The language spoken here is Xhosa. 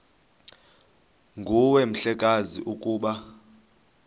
nguwe mhlekazi ukuba